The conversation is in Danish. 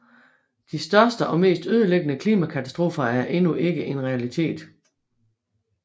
De største og mest ødelæggende klimakatastrofer er endnu ikke en realitet